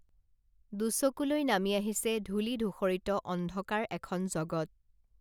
দুচকুলৈ নামি আহিছে ধূলি ধূসৰিত অন্ধকাৰ এখন জগত